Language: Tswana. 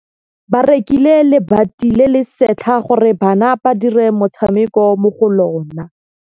Ba rekile lebati le le setlha gore bana ba dire motshameko mo go lona.